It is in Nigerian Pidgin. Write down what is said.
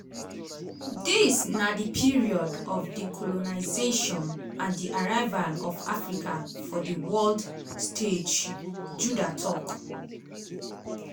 dis na di period of decolonisation and di arrival of africa for di world stage judah tok.